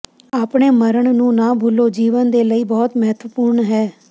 ਆਪਣੇ ਮਰਨ ਨੂੰ ਨਾ ਭੁੱਲੋ ਜੀਵਨ ਦੇ ਲਈ ਬਹੁਤ ਮਹੱਤਵਪੂਰਨ ਹੈ